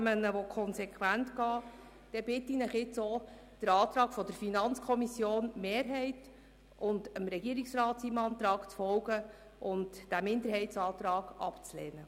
Wenn Sie dasselbe wünschen, bitte ich Sie, dem Antrag der FiKo-Mehrheit und demjenigen des Regierungsrats zu folgen und den Minderheitsantrag abzulehnen.